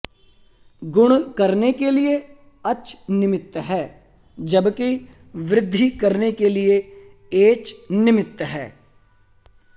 गुण करने के लिए अच् निमित्त है जबकि वृद्धि करने के लिए एच् निमित्त है